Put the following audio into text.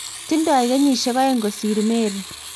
tingdoi kenyisiek oeng' kosir Mary